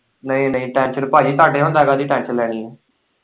ਨਈ-ਨਈ ਟੈੱਨਸ਼ਨ ਭਾਜੀ ਤੁਹਾਡੇ ਹੁੰਦੀਆਂ ਕਾਹਦੀ ਟੈੱਨਸ਼ਨ ਲੈਣੀ ਏ।